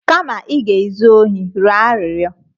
Kama ị ga-ezu ohi, rịọ arịrịọ!